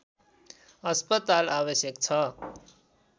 अस्पताल आवश्यक छ